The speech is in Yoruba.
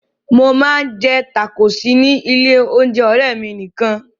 Mo máa ń jẹ tákóòsì ní ilé-oúnjẹ ọ̀rẹ́ mi nìkan.